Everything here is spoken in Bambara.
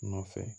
Nɔfɛ